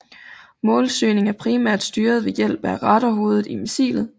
Målsøgningen er primært styret ved hjælp af radarhovedet i missilet